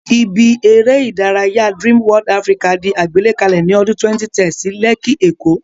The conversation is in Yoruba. Ibi eré ìdárayá Dream World Africa di àgbékalẹ̀ ní ọdún 2010 sí Lẹ́kí, èkó